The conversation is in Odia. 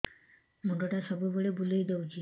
ମୁଣ୍ଡଟା ସବୁବେଳେ ବୁଲେଇ ଦଉଛି